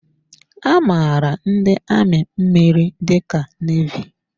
A maara ndị amị mmiri dị ka nevy.